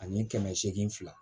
Ani kɛmɛ seegin fila